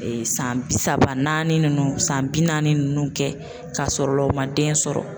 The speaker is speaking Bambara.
San bi saba naani nunnu ,san bi naani nunnu kɛ ka sɔrɔ u ma den sɔrɔ.